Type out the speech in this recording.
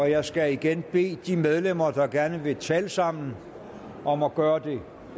jeg skal igen bede de medlemmer der gerne vil tale sammen om at gøre det